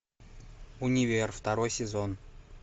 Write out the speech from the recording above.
универ второй сезон